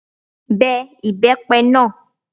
Be ibepe náà!